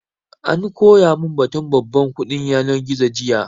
An koya mun batun babban kuɗin yanar gizo jiya